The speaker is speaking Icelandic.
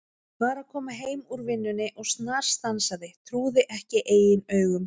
Var að koma heim úr vinnunni og snarstansaði, trúði ekki eigin augum.